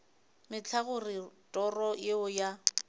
mehla gore toro yeo ya